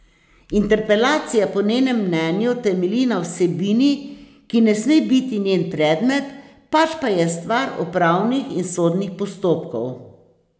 Interpelacija po njenem mnenju temelji na vsebini, ki ne sme biti njen predmet, pač pa je stvar upravnih in sodnih postopkov.